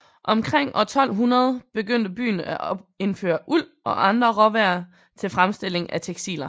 Omkring år 1200 begyndte byen at indføre uld og andre råvarer til fremstilling af tekstiler